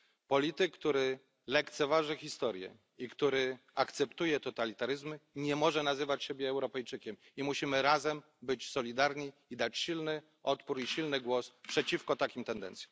Polityk, który lekceważy historię i który akceptuje totalitaryzmy, nie może nazywać siebie Europejczykiem i musimy razem być solidarni i dać silny odpór i silny głos przeciwko takim tendencjom.